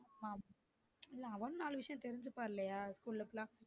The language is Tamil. ஆமா இல்ல அவனும் நாலு விஷயம் தெருஞ்சுப்பான் இல்லையா ஸ்கூல்ல